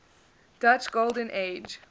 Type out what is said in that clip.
dutch golden age